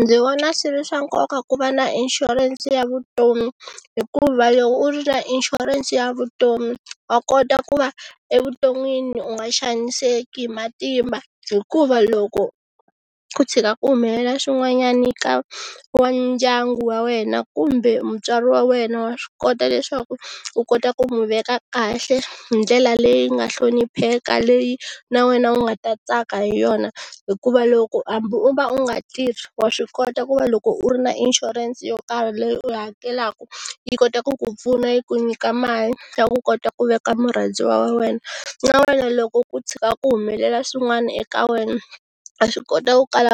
Ndzi vona swi ri swa nkoka ku va na inshurense ya vutomi hikuva loko u ri na inshurense ya vutomi wa kota ku va evuton'wini u nga xaniseki hi matimba hikuva loko ku tshika ku humelela swin'wanyana ka wa ndyangu wa wena kumbe mutswari wa wena wa swi kota leswaku u kota ku n'wi veka kahle hi ndlela leyi nga hlonipheka leyi na wena u nga ta tsaka hi yona hikuva loko hambi u va u nga tirhi, wa swi kota ku va loko u ri na inshurense yo karhi leyi u hakelaka yi kota ku ku pfuna yi ku nyika mali ya ku kota ku veka murhandziwa wa wena na wena loko ku tshika ku humelela swin'wana eka wena, wa swi kota ku kala